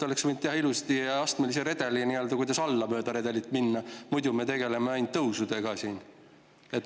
Oleks võinud ju teha ilusti astmelise redeli ja mööda seda alla minna, muidu me tegeleme siin ainult tõusudega.